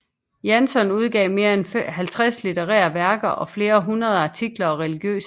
Janson udgav mere end 50 litterære værker og flere hundrede artikler og religiøse skrifter